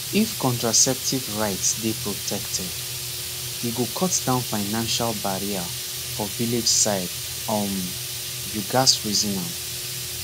if contraceptive rights dey protected e go cut down financial barrier for village side um you gatz reason am